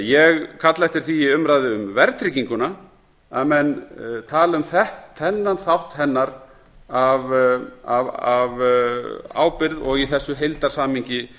ég kalla eftir því í umræðu um verðtrygginguna að menn tali um þennan þátt hennar af ábyrgð og í þessu heildarsamhengi